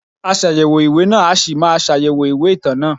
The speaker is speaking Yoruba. Aṣàyẹ̀wò ìwé náà a ṣì máa ṣàyẹ̀wò ìwé ìtàn náà.